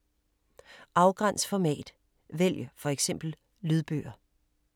Afgræns format: vælg for eksempel lydbøger